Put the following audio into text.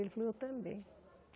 Ele falou, eu também.